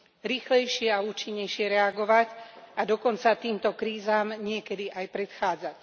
Rýchlejšie a účinnejšie reagovať a dokonca týmto krízam niekedy aj predchádzať.